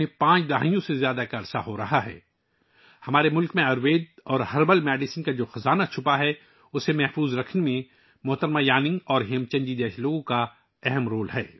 محترمہ یانونگ اور ہیم چند جی جیسے لوگوں کا ہمارے ملک میں چھپے آیوروید اور جڑی بوٹیوں کے خزانے کو محفوظ رکھنے میں بڑا رول ہے